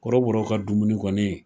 Kɔrɔbɔrɔw ka dumuni kɔni